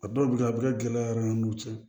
A dɔw bɛ kɛ a bɛ kɛ gɛlɛya yɛrɛ n'u cɛ